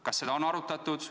Kas seda on arutatud?